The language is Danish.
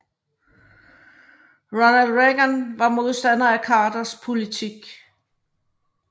Ronald Reagan var modstander af Carters politik